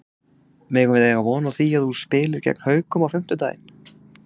Megum við eiga von á því að þú spilir með gegn Haukum á fimmtudaginn?